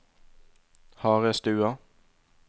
Harestua